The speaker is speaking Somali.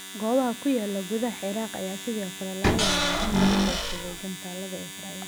Goobaha ku yaala gudaha Ciraaq ayaa sidoo kale laga yaabaa in lagu beegsaday gantaalada Israel.